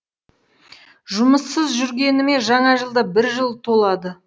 жұмыссыз жүргеніме жаңа жылда бір жыл толады